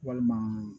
Walima